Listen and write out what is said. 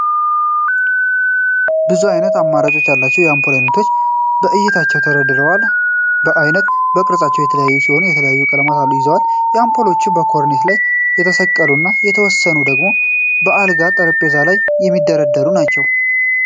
ብዙ አይነት አማራጭ ያላቸው የአንፖል አይነቶች በአይነታቸው ተደርድረዋል። በአይነት እና ቅርጻቸው የተለያዩ ሲሆኑ የተለያየ ቀለምም ይዘዋል። አንፖሎቹ በኮርኔስ ላይ የሚሰቀሉ እና የተወሰኑት ደግሞ በአልጋ እና ጠረጴዛ ላይ የሚደረጉ ናቸው።